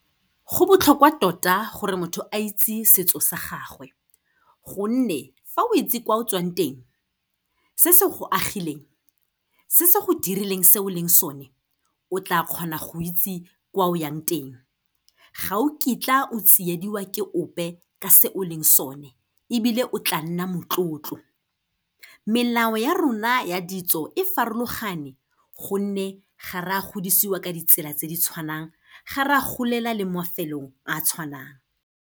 Go botlhokwa tota gore motho a itse setso sa gagwe gonne fa o itse kwa o tswang teng, se se go agileng, se se go dirileng se o leng sone, o tla kgona go itse kwa o yang teng. Ga o kitla o tsiediwa ke ope, ka se o leng sone ebile, o tla nna motlotlo. Melao ya rona ya ditso e farologane, gonne ga re a godisiwa ka ditsela tse di tshwanang, ga re a gololela le mo mafelong a a tshwanang.